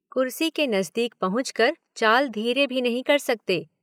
कुर्सी के नज़दीक पहुंचकर चाल धीरे भी नहीं कर सकते।